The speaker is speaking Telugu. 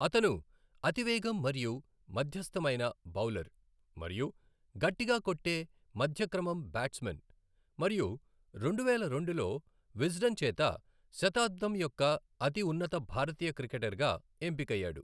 అతను అతి వేగం మరియు మధ్యస్థమైన బౌలర్ మరియు గట్టిగా కొట్టే మధ్య క్రమం బ్యాట్స్ మన్ మరియు రెండువేల రెండులో విజ్డెన్ చేత శతాబ్దం యొక్క అతిఉన్నత భారతీయ క్రికెటర్ గా ఎంపికయ్యాడు.